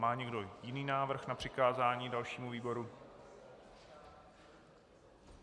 Má někdo jiný návrh na přikázání dalšímu výboru?